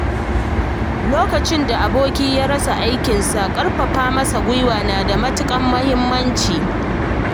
Lokacin da aboki ya rasa aikinsa, ƙarfafa masa gwiwa na da matuƙar muhimmanci.